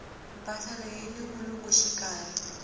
mpahla leyi yini vulungu xikarhi